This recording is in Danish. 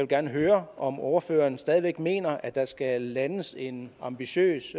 gerne høre om ordføreren stadig mener at der skal landes en ambitiøs